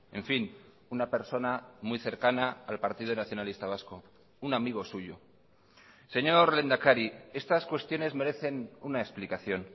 en fin una persona muy cercana al partido nacionalista vasco un amigo suyo señor lehendakari estas cuestiones merecen una explicación